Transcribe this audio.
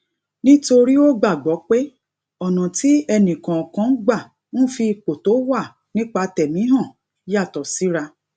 nítorí ó gbàgbó pé ònà tí ẹnì kòòkan gbà ń fi ipò tó wà nípa tẹmi hàn yàtò síra